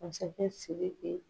Masakɛ siriki